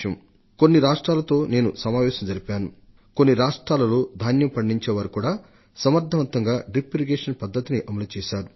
పదకొండు రాష్ట్రాలతో నేను చర్చ జరిపినప్పుడు కొన్ని రాష్ట్రాల్లో ధాన్యం పండించడానికి కూడా సమర్థంగా బిందు సేద్యం పద్ధతిని విజయవంతంగా అమలు చేశారన్న సంగతిని గమనించాను